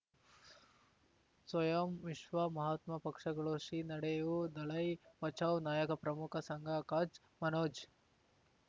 ಸ್ವಯಂ ವಿಶ್ವ ಮಹಾತ್ಮ ಪಕ್ಷಗಳು ಶ್ರೀ ನಡೆಯೂ ದಲೈ ಬಚೌ ನಾಯಕ ಪ್ರಮುಖ ಸಂಘ ಕಚ್ ಮನೋಜ್